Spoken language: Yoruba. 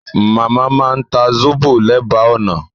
Màmá máa ń ta sóbò lẹ́bàá ọ̀nà